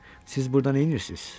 Siz burada nə edirsiniz?